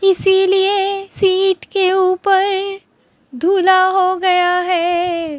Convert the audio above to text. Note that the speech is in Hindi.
इसीलिए सीट के ऊपर धुला हो गया है।